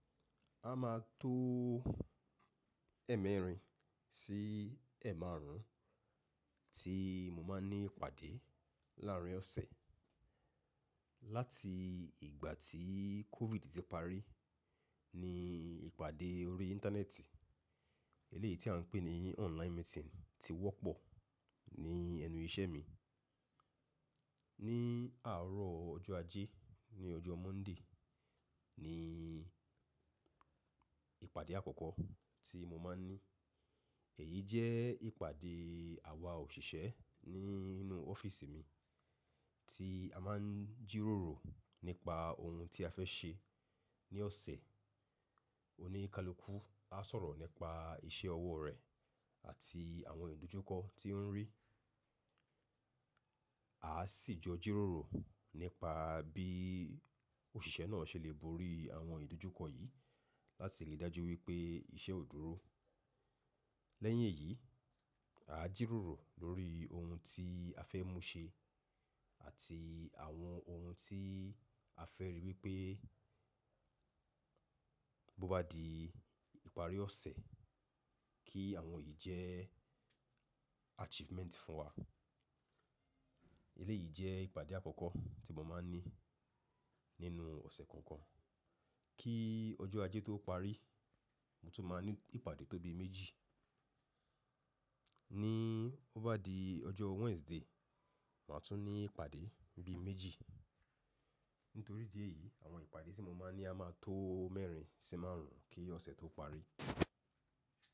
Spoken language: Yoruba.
A máa tó ẹ̀ẹ́mẹ́rin sí ẹ̀márùn tí mo máa ní ìpàdé láárin ọ̀sẹ̀. Láti ìgbà tí COVID ti parí, ní ìpàdé orí Íńtánẹ́ẹ̀tì, eléyìí tí à ń pè ní online meeting ti wọ́pọ̀ ní ẹnu iṣẹ́ mi. Ní àárọ̀ ọjọ́ Ajé, ní ọjọ́ Monday ni ìpàdé àkọ́kọ́ tí mo máa ní. Èyí jẹ́ ìpàdé àwa òṣìṣẹ́ nínú ọ́fíísì mi tí a máa ń jíròrò nípa ohun tí a fẹ́ ṣe ní ọ̀sẹ̀. Oníkálukú á sọ̀rọ̀ nípa iṣẹ́ ọwọ́ rẹ̀ àti àwọn ìdójúkọ tí ó rí. Aá sì jọ jíròrò nípa bìí òṣìṣẹ́ náà ṣe lè borí àwọn ìdójúkọ yìí láti lè dájú wípé iṣẹ́ ó dúró. Lẹ́yìn èyí, à jíròrò lórí ohun tí a fẹ́ mú ṣe àti àwọn ohun tí a fẹ́ rí wípé bó bá di ìparí ọ̀sẹ̀ kí àwọn yìí jẹ́ achievement fún wa. Eléyìí jẹ́ ìpàdé àkọ́kọ́ tí mo máa ní nínú ọ̀sẹ̀ kánkan. Kí ọjọ́ Ajé tó parí, mo tún máa ní ìpàdé tóbi méjì. Níí ó bá di ọjọ́ Wednesday, màá tún ní ìpàdé bi méjì. Nítorí ìdí ẹ̀ yìí àwọn ìpàdé tí mo máa ń ní a máa tó mẹ́rin sí márùn kí ọ̀sẹ̀ tó parí.